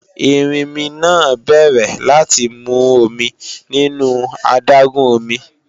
Erinmi náà bẹ̀rẹ̀ láti mu omi nínú adágún omi